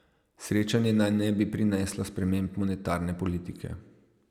Srečanje naj ne bi prineslo sprememb monetarne politike.